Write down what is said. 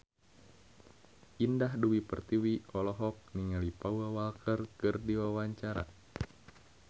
Indah Dewi Pertiwi olohok ningali Paul Walker keur diwawancara